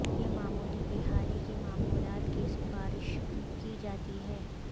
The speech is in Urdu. یہ معمولی بحالی کی معمولات کی سفارش کی جاتی ہے